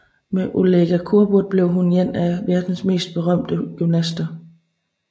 Med Olga Korbut blev hun en af verdens mest berømte gymnaster